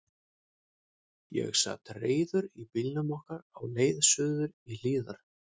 Ég sat reiður í bílnum okkar á leið suður í Hlíðar.